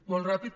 molt ràpid